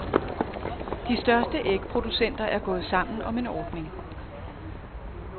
De største ægproducenter er gået sammen om en ordning.